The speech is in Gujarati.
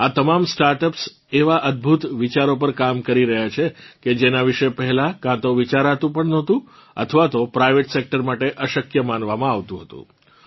આ તમામ સ્ટાર્ટઅપ્સ એવાં અદભુત વિચારો પર કામ કરી રહ્યાં છે કે જેનાં વિશે પહેલાં કાંતો વિચારાતું પણ નહોતું અથવા તો પ્રાઇવેટસેક્ટર માટેઅશક્ય માનવામાં આવતું હતું